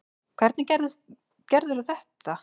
Hvernig gerðirðu þetta?